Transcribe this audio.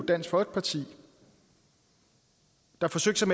dansk folkeparti der forsøgte